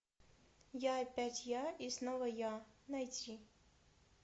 я опять я и снова я найти